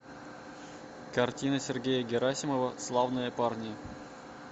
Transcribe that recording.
картина сергея герасимова славные парни